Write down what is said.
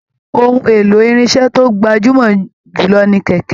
Òhun èlò irinṣẹ to gbajumọ jù lọ ní kẹkẹ.